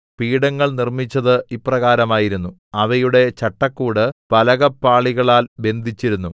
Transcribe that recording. പീഠങ്ങൾ നിർമ്മിച്ചത് ഇപ്രകാരമായിരുന്നു അവയുടെ ചട്ടക്കൂട് പലകപ്പാളികളാൽ ബന്ധിച്ചിരുന്നു